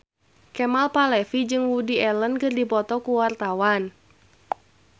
Kemal Palevi jeung Woody Allen keur dipoto ku wartawan